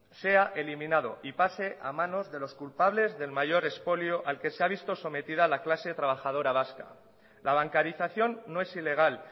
sea eliminado y pase a manos de los culpables del mayor expolio al que se ha visto sometida la clase trabajadora vasca la bancarización no es ilegal